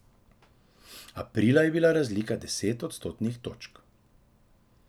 Aprila je bila razlika deset odstotnih točk.